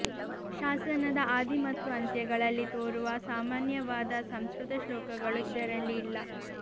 ಶಾಸನದ ಆದಿ ಮತ್ತು ಅಂತ್ಯಗಳಲ್ಲಿ ತೋರುವ ಸಾಮಾನ್ಯವಾದ ಸಂಸ್ಕೃತ ಶ್ಲೋಕಗಳು ಇದರಲ್ಲಿ ಇಲ್ಲ